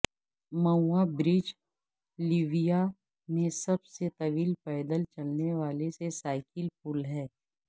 میووا برج لیویا میں سب سے طویل پیدل چلنے والے سے سائیکل پل ہے